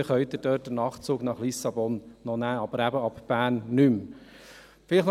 Dort können Sie den Nachtzug nach Lissabon noch nehmen, aber nicht mehr ab Bern.